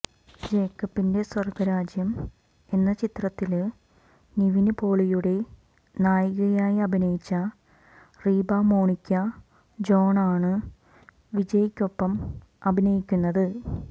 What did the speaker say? ജേക്കബിന്റെ സ്വര്ഗരാജ്യം എന്ന ചിത്രത്തില് നിവിന് പോളിയുടെ നായികയായി അഭിനയിച്ച റീബാ മോണിക്ക ജോണാണ് വിജയ്ക്കൊപ്പം അഭിനയിക്കുന്നത്